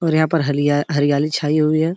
और यहाँ पर हालिया हरीयाली छाई हुई है।